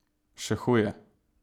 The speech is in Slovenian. Še huje!